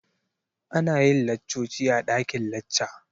Ana yin laccoci a dakin lacca.